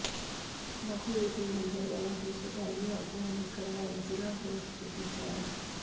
ਮਖੂ ਵਿਖੇ ਨੰਬਰਦਾਰਾਂ ਦੀ ਸੂਬਾਈ ਆਗੂਆਂ ਨੇ ਕਰਵਾਈ ਜ਼ਿਲ੍ਹਾ ਫ਼ਿਰੋਜ਼ਪੁਰ ਦੀ ਚੋਣ